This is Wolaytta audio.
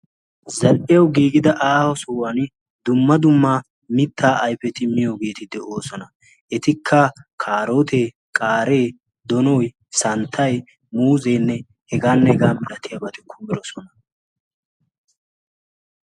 zal''iyaw giigida aaho sohuwan duuma dumma mitta ayfeti miyoogeeti de'oosona. etikka kaarotee, qaare, donoy, santtay muuzenne heganne hegaa malatiyaabati kummidoosona.